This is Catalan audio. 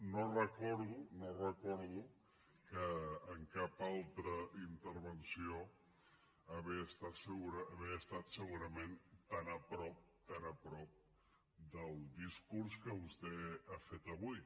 no recordo no recordo en cap altra intervenció haver estat segurament tan a prop tan a prop del discurs que vostè ha fet avui